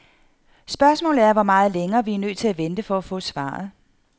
Spørgsmålet er, hvor meget længere vi er nødt til at vente for at få svaret.